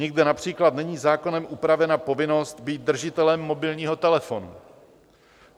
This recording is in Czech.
Nikde například není zákonem upravena povinnost být držitelem mobilního telefonu.